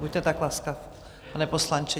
Buďte tak laskav, pane poslanče.